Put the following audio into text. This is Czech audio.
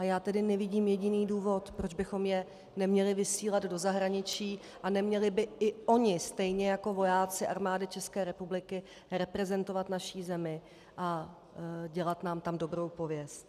A já tedy nevidím jediný důvod, proč bychom je neměli vysílat do zahraničí a neměli by i oni stejně jako vojáci Armády České republiky reprezentovat naši zemi a dělat nám tam dobrou pověst.